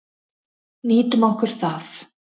Nýtum okkur það.